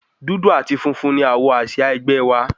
Dúdú àti funfun ni àwọ̀ àsìá ẹgbẹ́ wa.